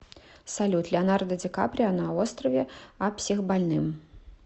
салют леонардо ди каприо на острове а психбольным